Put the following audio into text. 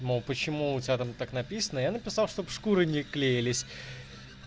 мол почему у тебя там так написано я написал чтобы шкуры не клеились